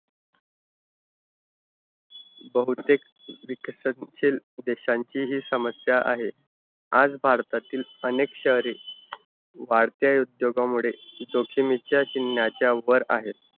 बहुतेक विकसनशील देशांची हि समस्या आहे. आज भारतातील अनेक शहरे वाढत्या उद्योगामुळे जोखिमेच्या चिन्हाच्या वर आहेत.